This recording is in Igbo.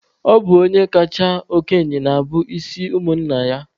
Ọ bụ onye kachasị okenye na-abụ onye isi ụmụnna ya.